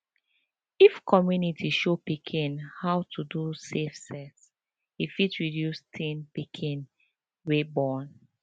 if community show pikin how to do safe sex e fit reduce teen pikin wey born